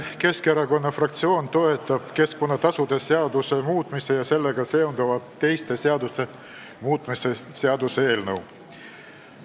Keskerakonna fraktsioon toetab keskkonnatasude seaduse muutmise ja sellega seonduvalt teiste seaduste muutmise seaduse eelnõu.